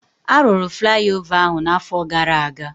Arụrụ flaiova ahụ na afọ gara aga